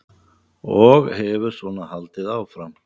Og hefur svona haldið áfram?